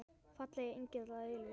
Fallegi engill að eilífu.